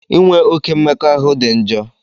Inwe oke mmekọahụ dị njọ.